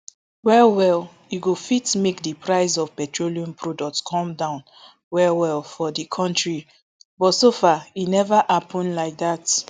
well well e go fit make di price of petroleum products come down well well for di kontri but so far e neva happun like dat